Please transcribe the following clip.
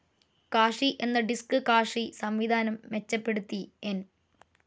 Cache എന്ന disk cache സംവിധാനം മെച്ചപ്പെടുത്തി എൻ.